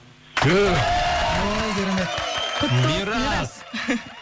түф ой керемет құтты болсын мирас